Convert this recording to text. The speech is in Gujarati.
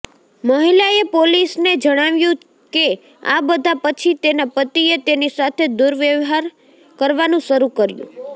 મહિલાએ પોલીસને જણાવ્યું કે આ બધા પછી તેના પતિએ તેની સાથે દુર્વ્યવહાર કરવાનું શરૂ કર્યું